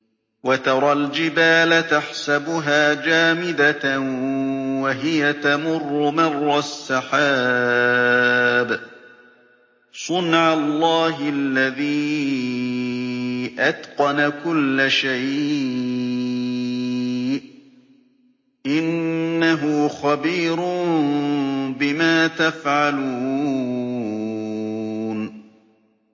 وَتَرَى الْجِبَالَ تَحْسَبُهَا جَامِدَةً وَهِيَ تَمُرُّ مَرَّ السَّحَابِ ۚ صُنْعَ اللَّهِ الَّذِي أَتْقَنَ كُلَّ شَيْءٍ ۚ إِنَّهُ خَبِيرٌ بِمَا تَفْعَلُونَ